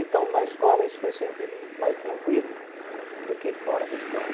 Então, na escola isso foi sempre hum mais tranquilo do que fora da escola.